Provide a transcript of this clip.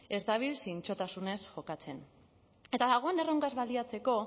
ez dabil zintzotasunez jokatzen eta dagoen erronkaz baliatzeko